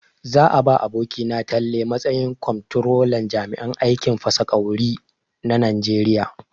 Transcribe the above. Za a ba abokina Talle matsayin kwamtrolan jami'an aikin fasa ƙwauri na Najeriya.